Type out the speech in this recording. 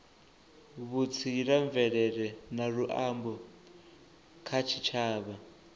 vhutsila mvelele na luambo kha tshitshavha